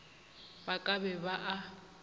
ba ka be ba a